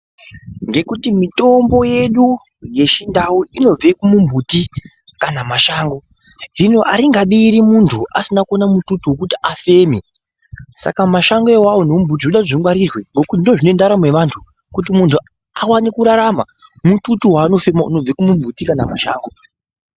Ngekuti mitambo yedu yechindau inobve kumumhuti kana mashango. Hino aringabiri muntu asina kuona mututu wekuti afeme. Saka mashango awawo nemumbuti zvinoda kuti ngazvingwarirwe ngekuti ndizvo zvine ndaramo yewantu, kuti muntu awane kurarama mututu waanofema unobve kumumbuti kana mumashango.